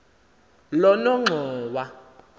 lonongxowa